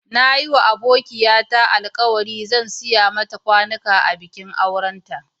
Na yi ma abokiya ta alkawali zan siya mata kwanuka a bikin auren ta.